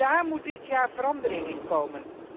Daar moet dit jaar verandering in komen.